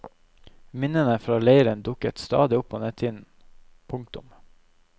Minnene fra leiren dukker stadig opp på netthinnen. punktum